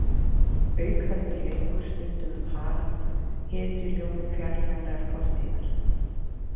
Auk heldur leikur stundum um Harald hetjuljómi fjarlægrar fortíðar.